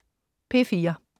P4: